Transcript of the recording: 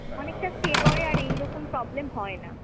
অনেকটা stay করে আর এইরকম problem হয় না।